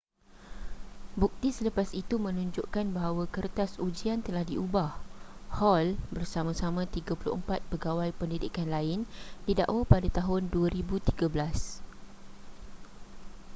bukti selepas itu menunjukkan bahawa kertas ujian telah diubah hall bersama-sama 34 pegawai pendidikan lain didakwa pada tahun 2013